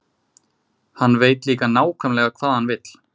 Hann veit líka nákvæmlega hvað hann vill.